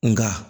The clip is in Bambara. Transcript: Nka